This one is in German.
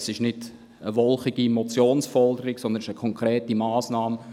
Dies ist nicht eine wolkige Motionsforderung, sondern eine konkrete Massnahme.